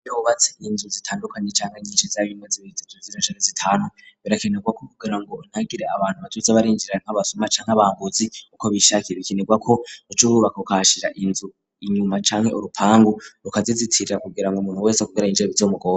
Iyo wubatse inzu zitandukanye canke nyinshi zabimeze bibitete z'irashika inzu zitanu birakenerwa ko kugira ngo unagire abantu bacunze abaza barinjira nk'abasuma canke abambuzi uko bishakiye bikenerwa ko uca wubaka ukahashira inzu inyuma canke urupangu rukazizitirira kugira ngo umuntu wese yinjira bizomugore.